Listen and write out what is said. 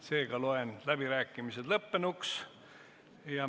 Seega loen läbirääkimised lõppenuks.